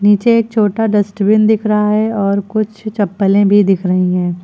पीछे एक छोटा डस्टबिन दिख रहा है और कुछ चप्पलें भी दिख रही हैं।